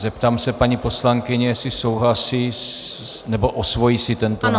Zeptám se paní poslankyně, jestli souhlasí nebo osvojí si tento návrh.